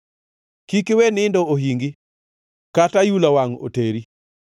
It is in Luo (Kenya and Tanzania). Kik iwe nindo ohingi, kata ayula wangʼ oteri.